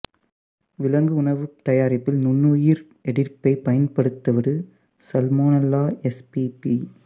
விலங்கு உணவு தயாரிப்பில் நுண்ணுயிர் எதிர்ப்பியைப் பயன்படுத்துவது சல்மோனல்லா எஸ்பிபி